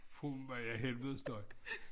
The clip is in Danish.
Fru ja helvedes støj